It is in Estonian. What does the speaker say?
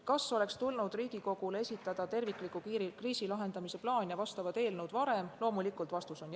Kas oleks terviklik kriisi lahendamise plaan ja vastavad eelnõud tulnud Riigikogule esitada varem?